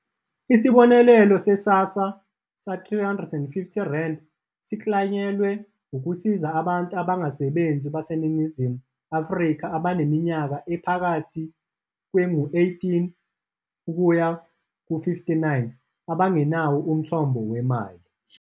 Isibonelelo se-SASSA R350 siklanyelwe ukusiza abantu abangasebenzi baseNingizimu Afrika abaneminyaka ephakathi kwengu-18-59 abangenawo umthombo wemali.